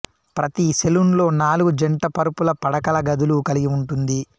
ప్రతి సెలూన్ లో నాలుగు జంట పరుపుల పడకల గదులు కలిగి ఉంటుంది